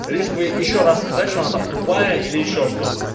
лишь бы ещё раз сказать что она там тупая или ещё что то